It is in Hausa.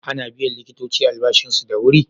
Ana biyan likitoci albashinsu da wuri?